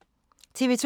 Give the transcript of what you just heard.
TV 2